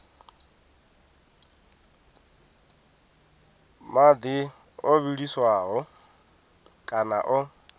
madi o vhiliswaho kana o